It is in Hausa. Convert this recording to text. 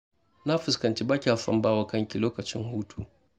Na fuskanci ba kya son ba wa kanki lokacin hutu.